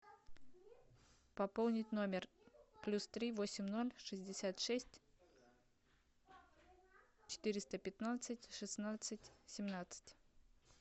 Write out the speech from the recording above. пополнить номер плюс три восемь ноль шестьдесят шесть четыреста пятнадцать шестнадцать семнадцать